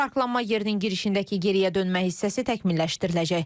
Parklanma yerinin girişindəki geriyə dönmə hissəsi təkmilləşdiriləcək.